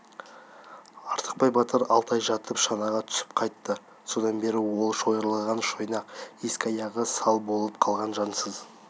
артықбай батыр алты ай жатып шанаға түсіп қайтты содан бері ол шойырылған шойнақ екі аяғы сал болып қалған жансыз